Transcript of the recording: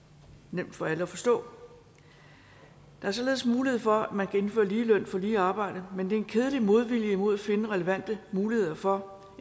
nemt for alle at forstå der er således mulighed for at man kan indføre lige løn for lige arbejde men der er en kedelig modvilje mod at finde relevante muligheder for